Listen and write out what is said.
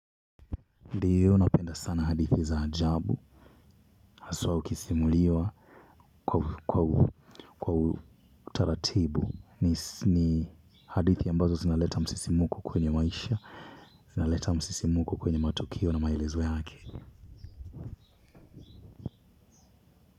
Ndiyo napenda sana hadithi za ajabu haswa ukisimuliwa kwa utaratibu ni hadithi ambazo zinaleta msisimko kwenye maisha inaleta msisimko kwenye matukio na maelezo yake.